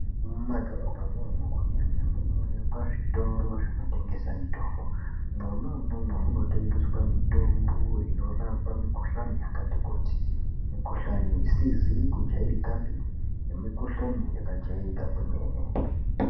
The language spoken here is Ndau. Mumadhorobha mwomwo munoonekwa zvitoro zvinotengesa mitombo, mwona umwomwo munotengeswe mitombo inorapa mikohlani yakati kuti mikohlani isizi kujairikapi nemikohlani akajairika kwemene.